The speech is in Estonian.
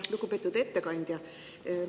Lugupeetud ettekandja!